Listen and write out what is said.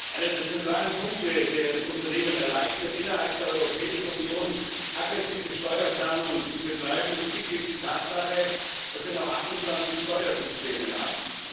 Einer der zentralen Punkte, der es Unternehmen erleichtert, innerhalb der Europäischen Union aggressive Steuerplanung zu betreiben, ist schlichtweg die Tatsache, dass wir noch 28 Steuersysteme haben.